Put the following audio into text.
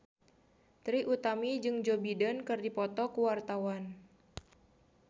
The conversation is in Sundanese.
Trie Utami jeung Joe Biden keur dipoto ku wartawan